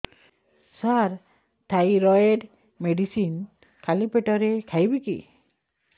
ସାର thyroid medicine ଖାଲି ପେଟରେ ଖାଇବି କି